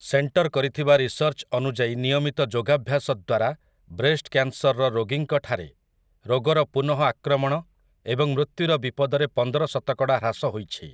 Centre କରିଥିବା research ଅନୁଯାୟୀ ନିୟମିତ ଯୋଗାଭ୍ୟାସ ଦ୍ୱାରା ବ୍ରେଷ୍ଟ୍ କ୍ୟାନ୍‌ସର୍‌ର ରୋଗୀଙ୍କଠାରେ ରୋଗର ପୁନଃଆକ୍ରମଣ ଏବଂ ମୃତ୍ୟୁର ବିପଦରେ ପନ୍ଦର ଶତକଡ଼ା ହ୍ରାସ ହୋଇଛି ।